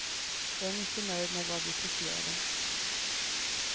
Jag är mycket nöjd med vad vi presterade.